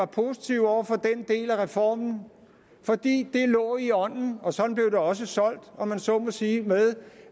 positive over for den del af reformen fordi det lå i ånden og sådan blev det også solgt om man så må sige